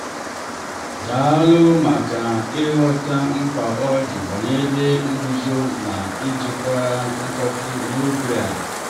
dàlù maka ịghọta mkpa ọ di banyere nzuzo na njikwa mkpọ́tù n' ógbè a.